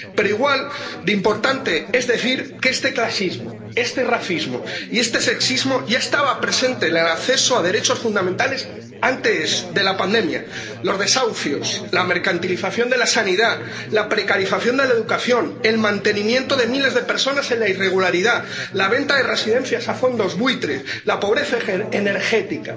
Pero igual de importante es decir que este clasismo, este racismo y este sexismo ya estaban presentes en el acceso a los derechos fundamentales antes de la pandemia los desahucios, la mercantilización de la sanidad, la precarización de la educación, el mantenimiento de miles de personas en la irregularidad, la venta de residencias a fondos buitre, la pobreza energética.